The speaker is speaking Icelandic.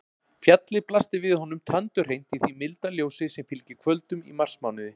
Fjallið blasti við honum tandurhreint í því milda ljósi sem fylgir kvöldum í marsmánuði.